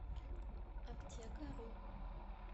аптекару